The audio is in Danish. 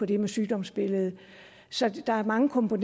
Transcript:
det med sygdomsbilledet så der er mange grunde